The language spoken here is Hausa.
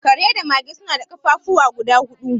Kare da mage suna da ƙafafuwa guda hudu